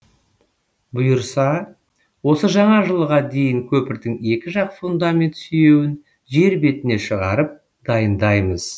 бұйырса осы жаңа жылға дейін көпірдің екі жақ фундамент сүйеуін жер бетіне шығарып дайындаймыз